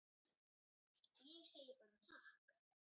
Ég segi bara takk.